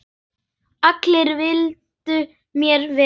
Allir vildu mér vel.